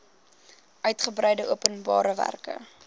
uigebreide openbare werke